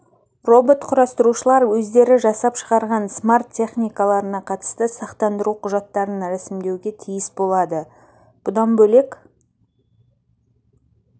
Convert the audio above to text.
робот құрастырушылар өздері жасап шығарған смарт техникаларына қатысты сақтандыру құжаттарын рәсімдеуге тиіс болады бұдан бөлек